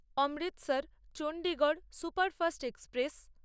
Amritsar Chandigarh superfast express